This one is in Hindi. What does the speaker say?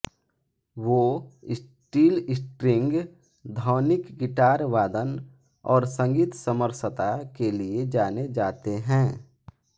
वो स्टीलस्ट्रिंग ध्वनिक गिटार वादन और संगीत समरसता के लिए जाने जाते हैं